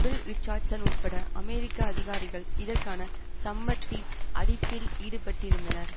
bill Richardson உட்பட்ட அமெரிக்க அதிகாரிகள் இதற்கான சம்மட்டி அடிப்பில் ஈடுபட்டிருந்தனர்